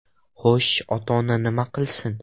Xo‘sh, ota-ona nima qilsin?